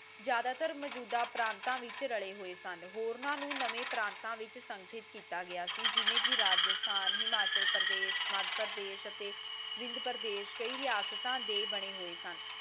ਜ਼ਿਆਦਾਤਰ ਮਜੂਦਾ ਪਰਾਂਤ ਵਿੱਚ ਰਲੇ ਹੋਏ ਸਨ ਹੋਰਨਾਂ ਨੂੰ ਨਵੇਂ ਪ੍ਰਤਾ ਵਿੱਚ ਸਕਿਤ ਕੀਤਾ ਗਿਆ ਜਿਵੇਂ ਕਿ ਰਾਜਸਥਾਨ ਹਿਮਾਚਲ ਪ੍ਰਦੇਸ ਮੱਧਪ੍ਰਦੇਸ ਅਤੇ ਵਿੰਧਯਾਪ੍ਰਦੇਸ ਕਇ ਰਿਹਾਸਤਾ ਦੇ ਬਣੇ ਹੋਏ ਸਨ